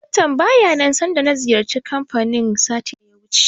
Akawun baya nan sanda na ziyarci kanfanin satin da ya wuce.